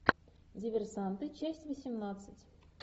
диверсанты часть восемнадцать